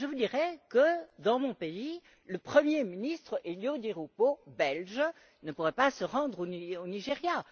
Je vous dirai que, dans mon pays, le premier ministre Elio Di Rupo, belge, ne pourrait pas se rendre au Nigeria.